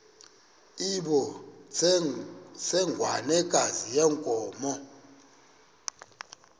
loo ntsengwanekazi yenkomo